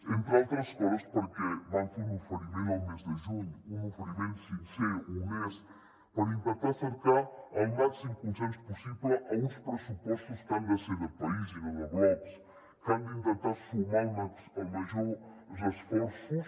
entre altres coses perquè vam fer un oferiment el mes de juny un oferiment sincer honest per intentar cercar el màxim consens possible a uns pressupostos que han de ser de país i no de blocs que han d’intentar sumar els majors esforços